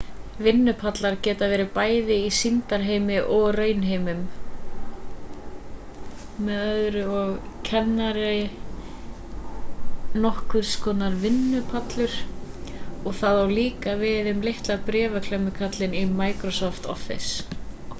vinnupallar geta verið bæði í sýndarheimi og raunheimum m.ö.o. er kennari nokkurs konar vinnupallur en það á líka við um litla bréfaklemmukarlinn í microsoft office